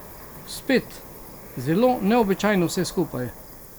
Spet, zelo neobičajno vse skupaj.